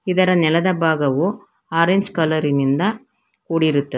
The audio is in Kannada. ಇದರ ನೆಲದ ಭಾಗವು ಆರೆಂಜ್ ಕಲರ್ ಇನಿಂದ ಕೂಡಿರುತ್ತ--